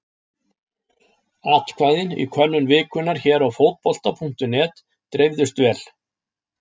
Atkvæðin í könnun vikunnar hér á Fótbolta.net dreifðust vel.